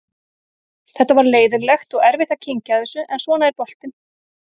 Þetta var leiðinlegt og erfitt að kyngja þessu en svona er boltinn.